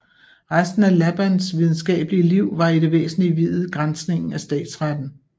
Resten af Labands videnskabelige Liv var i det væsentlige viet granskningen af statsretten